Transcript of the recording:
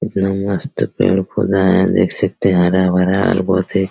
इतना मस्त पेड़-पौधा है देख सकते हैं हरा-भरा और बहुत ही --